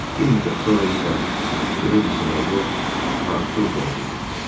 Bir müddət sonra isə Qledisin oğlu Artur doğuldu.